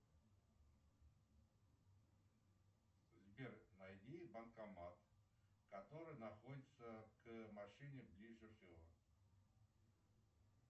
сбер найди банкомат который находится к машине ближе всего